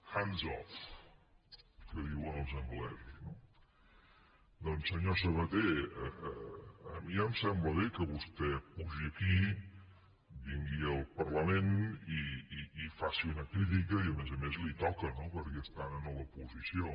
hands off que diuen els anglesos no doncs senyor sabaté a mi ja em sembla bé que vostè pugi aquí vingui al parlament i faci una crítica i a més a més li toca no perquè estan en l’oposició